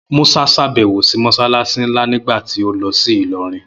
Musa ṣàbẹ̀wò sí Mọ́ṣáláṣí nlá nígbà tí ó lọ sí Ìlọrin